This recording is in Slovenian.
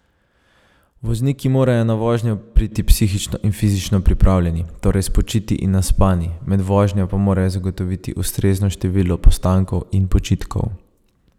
Vozniki morajo na vožnjo priti psihično in fizično pripravljeni, torej spočiti in naspani, med vožnjo pa morajo zagotoviti ustrezno število postankov in počitkov.